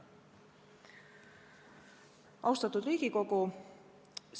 Austatud Riigikogu!